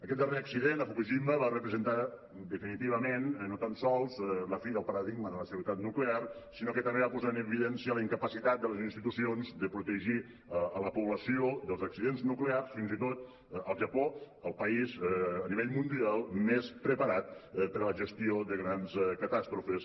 aquest darrer accident a fukushima va representar definitivament no tan sols la fi del paradigma de la seguretat nuclear sinó que també va posar en evidència la incapacitat de les institucions de protegir la població dels accidents nuclears fins i tot al japó el país a nivell mundial més preparat per a la gestió de grans catàstrofes